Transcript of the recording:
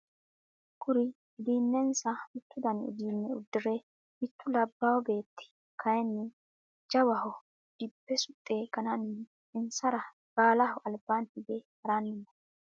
Kuri uduunensa mittu dani uduune udire mittu labawo beeti kayini goowaho dibbe suxe ganani insara baalaho albaani hige harani no.